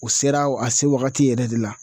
O sera a se wagati yɛrɛ de la